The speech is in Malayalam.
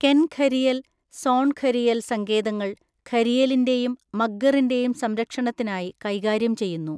കെൻ ഘരിയൽ, സോൺ ഘരിയൽ സങ്കേതങ്ങൾ ഘരിയലിന്റെയും മഗ്ഗറിന്റെയും സംരക്ഷണത്തിനായി കൈകാര്യം ചെയ്യുന്നു.